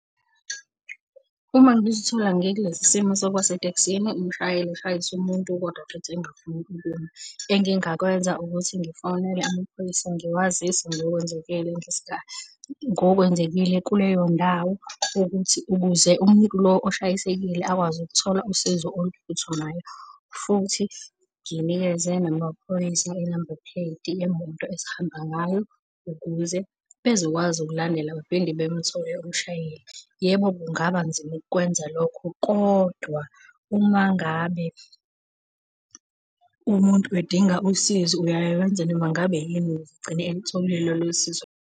Uma ngizithola ngikulesi simo sokuba setekisini umshayeli eshayise umuntu kodwa futhi engifuni ukuma, engingakwenza ukuthi ngifonele amaphoyisa ngiwazise ngokwenzekile ngokwenzekile kuleyo ndawo ukuthi ukuze umuntu lo oshayisekile akwazi ukuthola usizo oluphuthumayo. Futhi nginikeze namaphoyisa i-number plate yemoto esihamba ngayo ukuze bezokwazi ukulandela baphinde bemthole umshayeli. Yebo, kungaba nzima ukukwenza lokho kodwa uma ngabe umuntu edinga usizo uyaye wenze noma ngabe yini ukuze egcine elutholile lolo sizo .